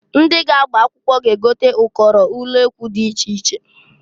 Ndị ga-agba akwụkwọ ga-egote ụkọrọ ulekwu di iche iche.